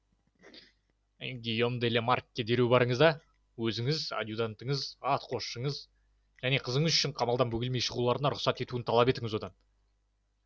гийом де ла маркке дереу барыңыз да өзіңіз адъютантыңыз атқосшыңыз және қызыңыз үшін қамалдан бөгелмей шығуларына рұқсат етілуін талап етіңіз одан